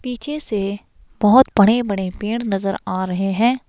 पीछे से बहोत बड़े बड़े पेड़ नजर आ रहे हैं।